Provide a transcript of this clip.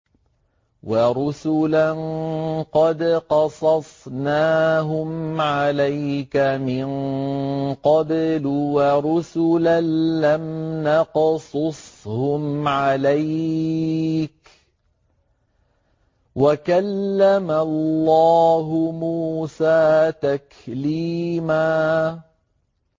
وَرُسُلًا قَدْ قَصَصْنَاهُمْ عَلَيْكَ مِن قَبْلُ وَرُسُلًا لَّمْ نَقْصُصْهُمْ عَلَيْكَ ۚ وَكَلَّمَ اللَّهُ مُوسَىٰ تَكْلِيمًا